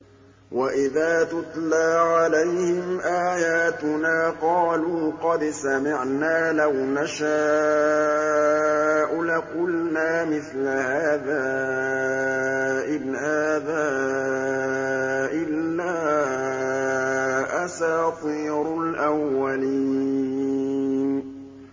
وَإِذَا تُتْلَىٰ عَلَيْهِمْ آيَاتُنَا قَالُوا قَدْ سَمِعْنَا لَوْ نَشَاءُ لَقُلْنَا مِثْلَ هَٰذَا ۙ إِنْ هَٰذَا إِلَّا أَسَاطِيرُ الْأَوَّلِينَ